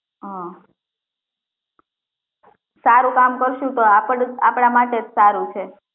હા સારું કામ કરશું તો આપડું આપડા માટે જ સારું છે